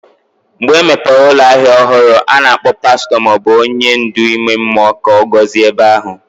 Mgbe emepere ụlọ ahịa ọhụrụ, a na-akpọ pastọ ma ọ bụ onye ndu ime mmụọ ka ọ gọzie ebe ahụ.